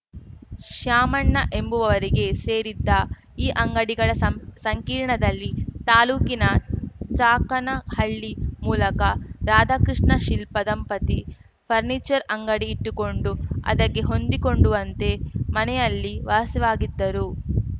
ಶ್ಯಾಮಣ್ಣ ಎಂಬುವರಿಗೆ ಸೇರಿದ್ದ ಈ ಅಂಗಡಿಗಳ ಸಂ ಸಂಕೀರ್ಣದಲ್ಲಿ ತಾಲೂಕಿನ ಚಾಕನ ಹಳ್ಳಿ ಮೂಲಕ ರಾಧಕೃಷ್ಣ ಶಿಲ್ಪ ದಂಪತಿ ಫರ್ನಿಚರ್‌ ಅಂಗಡಿ ಇಟ್ಟುಕೊಂಡು ಅದಕ್ಕೆ ಹೊಂದಿಕೊಂಡುವಂತೆ ಮನೆಯಲ್ಲಿ ವಾಸವಾಗಿದ್ದರು